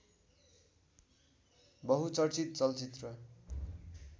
बहुचर्चीत चलचित्र